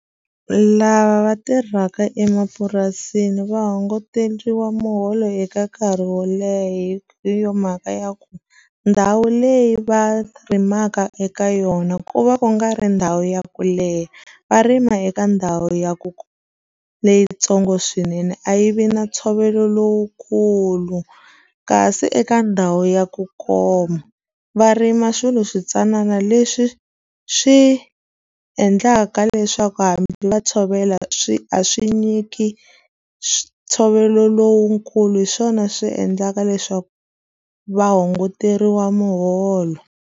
Lava va tirhaka emapurasini va hunguteriwa muholo eka nkarhi wo leha, hi yo mhaka ya ku ndhawu leyi va rimaka eka yona ku va ku nga ri ndhawu ya ku leha. Va rima eka ndhawu ya leyitsongo swinene, a yi vi na ntshovelo lowukulu. Kasi eka ndhawu ya ku koma, va rima swilo switsanana leswi swi endlaka leswaku hambi va tshovela swi a swi nyiki ntshovelo lowukulu. Hi swona swi endlaka leswaku va hunguteriwa muholo.